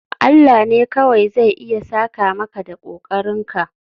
Allah ne kawai zai iya saka maka da kokarinka